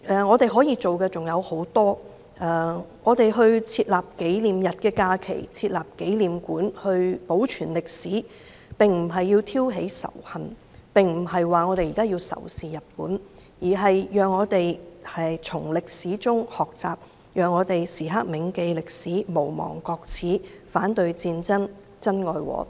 我們可以做的事情很多，把抗日戰爭勝利紀念日列為法定假日或設立紀念館來保存歷史，並不是要挑起仇恨，也不是說我們要仇視日本，而是讓我們從歷史中學習，時刻銘記歷史、無忘國耻、反對戰爭，珍愛和平。